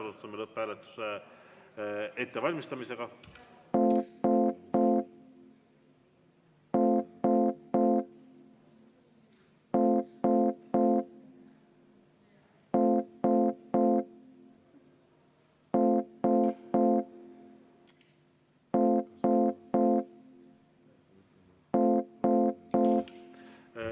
Alustame lõpphääletuse ettevalmistamist.